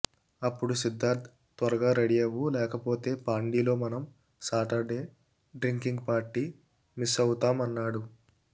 అప్పుడు సిద్ధార్థ్ త్వరగా రెడీ అవ్వు లేకపోతే పాండీలో మనం సాటర్డే డ్రింకింగ్ పార్టీ మిస్ అవుతాం అన్నాడు